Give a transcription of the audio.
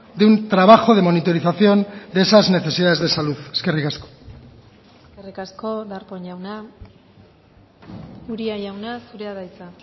de un trabajo de monitorización de esas necesidades de salud eskerrik asko eskerrik asko darpón jauna uria jauna zurea da hitza